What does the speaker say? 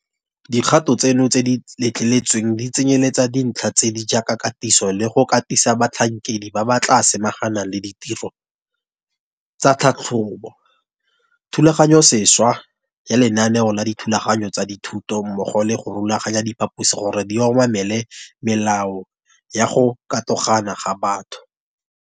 Dikgato tseno tse di letleletsweng di tsenyeletsa dintlha tse di jaaka katiso le go katisa batlhankedi ba ba tla samaganang le ditiro tsa tlhatlhobo, thulaganyosešwa ya lenaneo la dithulaganyo tsa dithuto mmogo le go rulaganya diphaposi gore di obamele melao ya go katogana ga batho.